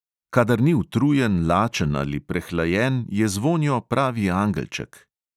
"Kadar ni utrujen, lačen ali prehlajen, je zvonjo pravi angelček."